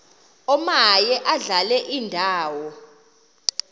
omaye adlale indawo